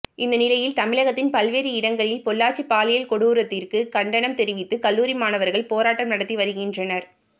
இந்த நிலையில் தமிழகத்தின் பல்வேறு இடங்களில் பொள்ளாச்சி பாலியல் கொடூரத்திற்கு கண்டனம் தெரிவித்து கல்லூரி மாணவர்கள் போராட்டம் நடத்தி வருகின்றனர்